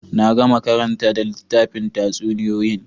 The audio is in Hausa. Na gama karantar da littafin tatsuniyoyin